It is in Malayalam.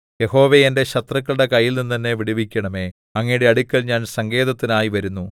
യഹോവേ എന്റെ ശത്രുക്കളുടെ കൈയിൽനിന്ന് എന്നെ വിടുവിക്കണമേ അങ്ങയുടെ അടുക്കൽ ഞാൻ സങ്കേതത്തിനായി വരുന്നു